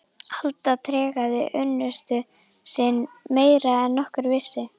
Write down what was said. Alda tregaði unnusta sinn meira en nokkur vissi.